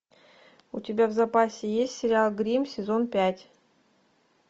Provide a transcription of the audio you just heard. у тебя в запасе есть сериал гримм сезон пять